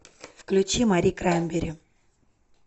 включи мари краймбрери